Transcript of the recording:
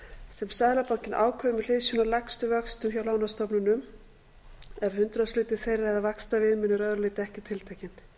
sem seðlabankinn ákveður með hliðsjón af lægstu vöxtum hjá lánastofnunum ef hundraðshluti þeirra eða vaxtaviðmiðun er að öðru leyti ekki tiltekin